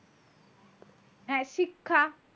হ্যাঁ, শিক্ষা,